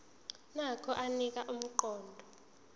nokho anika umqondo